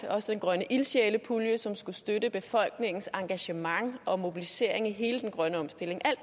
også den grønne ildsjælepulje som skulle støtte befolkningens engagement og mobilisering i hele den grønne omstilling